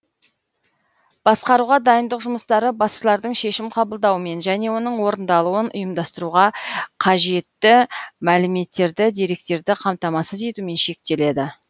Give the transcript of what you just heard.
басқаруға дайындық жұмыстары басшылардың шешім қабылдауымен және оның орындалуын ұйымдастыруға қажетті мәліметтерді деректерді қамтамасыз етумен шектеледі